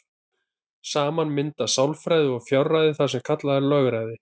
Saman mynda sjálfræði og fjárræði það sem kallað er lögræði.